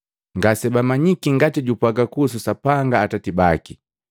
Ngasebamanyiki ngati japwaaga kuhusu Sapanga Atati baki.